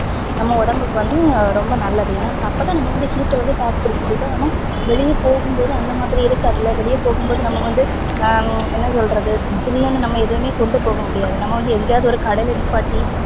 நம்ப உடம்புக்கு வந்து ரொம்ப நல்லது ஏனா வந்து அப்பதா நம்ப வந்து heat ட தாக்கு புடிக்க முடியும் இப்போ நம்ப வெளிய போகும் போது அந்த மாதிரி இருக்கு அதுல வெளிய போகும் போது நம்ப வந்து ஹம் என்ன சொல்றது சில்லுனு நம்ம எதுவுமே கொண்டு போகமுடியாது நம்ப வந்து எங்கையாவது ஒரு கடையில நிப்பாட்டி